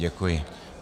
Děkuji.